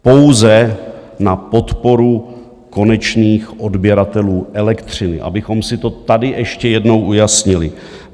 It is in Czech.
Pouze na podporu konečných odběratelů elektřiny, abychom si to tady ještě jednou ujasnili.